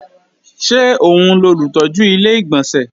Ṣé òun lolùtọ́jú Ilé-ìgbọ̀nsẹ̀?